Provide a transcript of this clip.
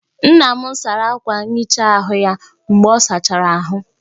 Nna m sara akwa nhicha ahụ ya mgbe ọ sachara ahụ